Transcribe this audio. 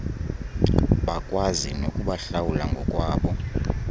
bakwazi nokubahlawula ngokwabo